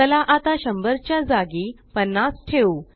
चला आता 100च्या जागी 50 ठेवू